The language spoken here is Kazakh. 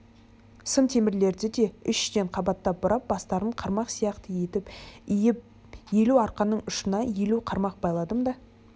сым темірлерді де үш-үштен қабаттап бұрап бастарын қармақ сияқты етіп иіп елу арқанның ұшына елу қармақ байладым да